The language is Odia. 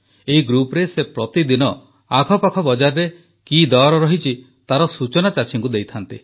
ଏହି ଗ୍ରୁପରେ ସେ ପ୍ରତିଦିନ ଆଖପାଖ ବଜାରରେ କି ଦର ରହିଛି ତାର ସୂଚନା ଚାଷୀଙ୍କୁ ଦେଇଥାନ୍ତି